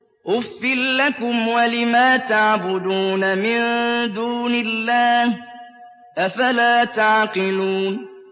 أُفٍّ لَّكُمْ وَلِمَا تَعْبُدُونَ مِن دُونِ اللَّهِ ۖ أَفَلَا تَعْقِلُونَ